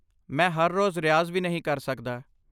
ਮੈਂ ਹਰ ਰੋਜ਼ ਰਿਆਜ਼ ਵੀ ਨਹੀਂ ਕਰ ਸਕਦਾ।